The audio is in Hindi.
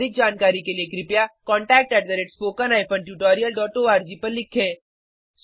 अधिक जानकारी के लिए कृपया contact at spoken hyphen tutorial dot org पर लिखें